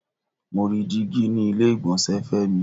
Mo rí dígí ni ilé ìgbọ̀nsẹ̀ Femi.